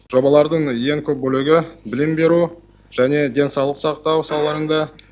жобалардың ең көп бөлігі білім беру және денсаулық сақтау салаларында